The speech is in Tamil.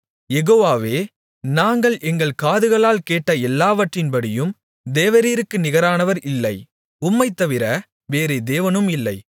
யெகோவாவே நாங்கள் எங்கள் காதுகளால் கேட்ட எல்லாவற்றின்படியும் தேவரீருக்கு நிகரானவர் இல்லை உம்மைத் தவிர வேறே தேவனும் இல்லை